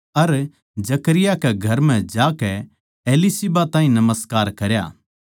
अर Zechariah कै घर म्ह जाकै एलीशिबा ताहीं नमस्कार करया